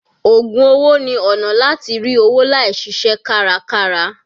Ògùn owó ni ọ̀nà láti rí owó láì ṣiṣẹ́ kárakára.